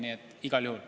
Peep Aru, palun!